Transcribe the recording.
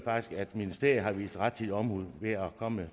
at ministeriet har udvist rettidig omhu ved at komme